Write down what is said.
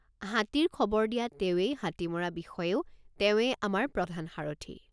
হাতীৰ খবৰ দিয়া তেৱেঁই হাতী মৰা বিষয়েও তেৱেঁই আমাৰ প্ৰধান সাৰথি।